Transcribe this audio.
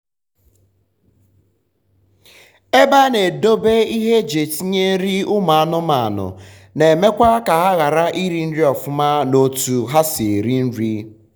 ebe um a na edobe ihe eji etinye nri ụmụ anụmanụ na emekwa ka ha ghara iri nri ọfụma na otu ha si eri nri